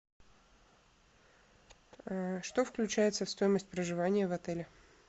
что включается в стоимость проживания в отеле